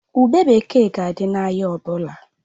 Ube bekee ga-adị n'ahịa ọ bụla